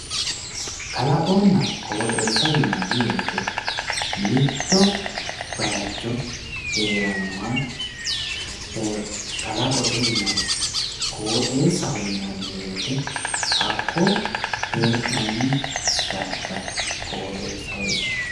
kalaqonna qooxeessa yinanni wote mitto bayiicho heerannoha kalaqote yinanni qooxeessaho yinanni wote hakko hee'nanni darga woyi qooxeessaho yinanni.